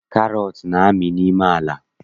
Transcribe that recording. Karọt na-amị n'ime ala